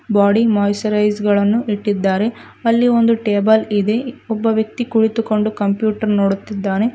Body moisturiser ಗಳನ್ನು ಇಟ್ಟಿದ್ದಾರೆ ಅಲ್ಲಿ ಒಂದು ಟೇಬಲ್ ಇದೆ ಒಬ್ಬ ವ್ಯಕ್ತಿ ಕುಳಿತುಕೊಂಡು ಕಂಪ್ಯೂಟರ್ ನೋಡುತ್ತಿದ್ದಾನೆ.